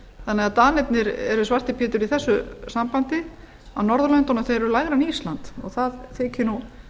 þannig að danirnir eru svarti pétur í þessu sambandi á norðurlöndunum þeir eru lægri en ísland og það þykir nú